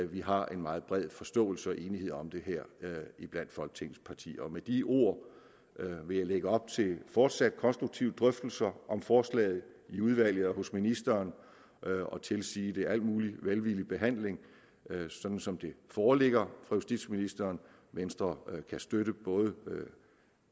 vi har en meget bred forståelse og enighed om det her iblandt folketingets partier med de ord vil jeg lægge op til fortsat konstruktive drøftelser om forslaget i udvalget og hos ministeren og tilsige det al mulig velvillig behandling som som det foreligger fra justitsministeren venstre kan støtte både